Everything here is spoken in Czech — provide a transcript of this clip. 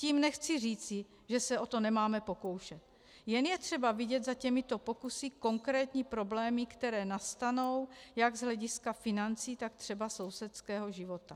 Tím nechci říci, že se o to nemáme pokoušet, jen je třeba vidět za těmito pokusy konkrétní problémy, které nastanou jak z hlediska financí, tak třeba sousedského života.